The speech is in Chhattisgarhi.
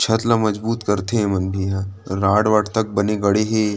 छत ल मजबूत करथे ये मन भी ह रॉड वाड तक बने गड़े हे।